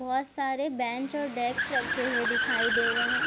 बहुत सारे बेंच और डेस्क रखे हुए दिखाई दे रहे हैं ।